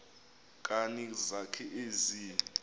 nkani zakho ezi